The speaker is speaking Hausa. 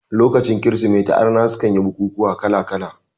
Lokacin kirismeti arna sukan yi bukukuwa kala kala